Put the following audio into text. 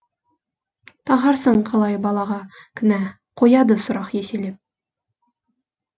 тағарсың қалай балаға кінә қояды сұрақ еселеп